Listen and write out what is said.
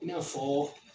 I n'a fɔ